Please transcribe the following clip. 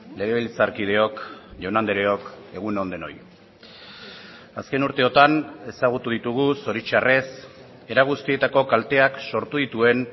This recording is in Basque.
legebiltzarkideok jaun andreok egun on denoi azken urteotan ezagutu ditugu zoritxarrez era guztietako kalteak sortu dituen